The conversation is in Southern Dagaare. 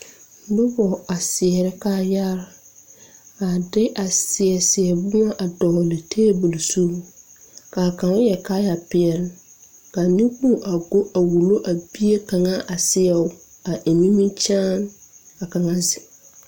Nobɔ a seɛrɛ kaayaare a de a seɛ seɛ boma a dɔgle tabol zu kaa kaŋ yɛre kaayɛ peɛle kaa neŋkpoŋ a go a wullo a bie kaŋa a seɛbo a eŋ nimikyaane ka kaŋa zeŋ.